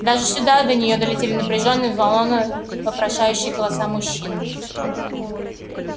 даже сюда до неё долетели напряжённые взволнованны вопрошающие голоса мужчин